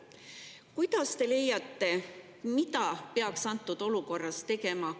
Mida teie arvates peaks antud olukorras tegema?